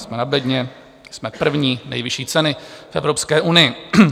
Jsme na bedně, jsme první - nejvyšší ceny v Evropské unii.